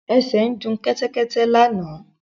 Ẹsẹ ń du Kẹ́tẹ́kẹ́tẹ́ lànà.